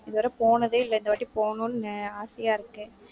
இதுவரை போனதே இல்லை. இந்தவாட்டி போகணும்னு ஆசையா இருக்கு